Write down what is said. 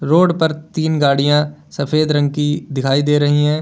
Road पर तीन गाड़ियां सफेद रंग की दिखाई दे रही हैं।